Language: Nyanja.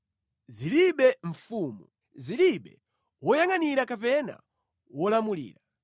Zilibe mfumu, zilibe woyangʼanira kapena wolamulira,